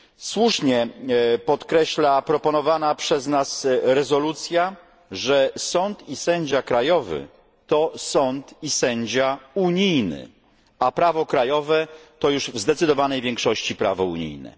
Słusznie podkreśla proponowana przez nas rezolucja, że sąd i sędzia krajowy to sąd i sędzia unijny, a prawo krajowe to już w zdecydowanej większości prawo unijne.